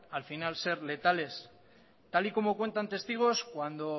al final ser letales tal y como cuentas testigos cuando